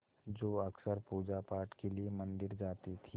जो अक्सर पूजापाठ के लिए मंदिर जाती थीं